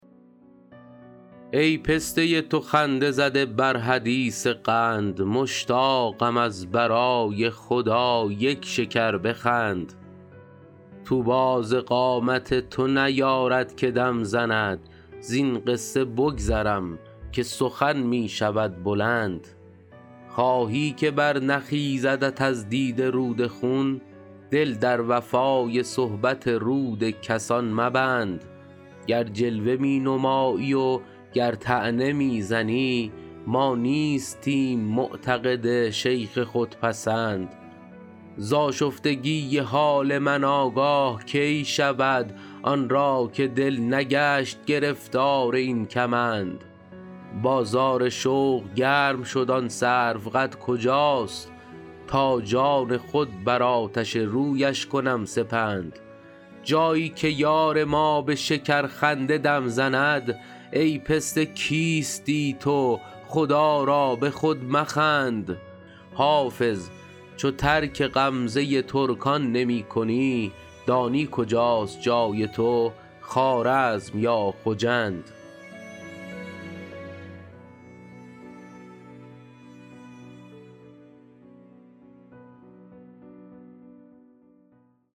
ای پسته تو خنده زده بر حدیث قند مشتاقم از برای خدا یک شکر بخند طوبی ز قامت تو نیارد که دم زند زین قصه بگذرم که سخن می شود بلند خواهی که برنخیزدت از دیده رود خون دل در وفای صحبت رود کسان مبند گر جلوه می نمایی و گر طعنه می زنی ما نیستیم معتقد شیخ خودپسند ز آشفتگی حال من آگاه کی شود آن را که دل نگشت گرفتار این کمند بازار شوق گرم شد آن سروقد کجاست تا جان خود بر آتش رویش کنم سپند جایی که یار ما به شکرخنده دم زند ای پسته کیستی تو خدا را به خود مخند حافظ چو ترک غمزه ترکان نمی کنی دانی کجاست جای تو خوارزم یا خجند